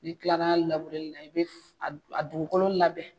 N'i kilal'a la labureli la i be f a dugukolo labɛn